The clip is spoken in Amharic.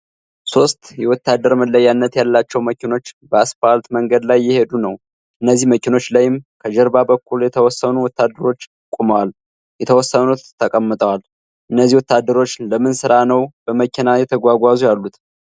ሶስት የወታደር መለያነት ያላቸው መኪኖች በአስፓልት መንገድ ላይ እየሄዱ ነው። እነዚህ መኪኖች ላይም ከጀርባ በኩል የተወሰኑ ወታደሮች ቆመዋል የተወሰኑት ተቀምጠዋል። እነዚህ ወታደሮች ለምን ስራ ነው በመኪና እየተጓዙ ያሉት?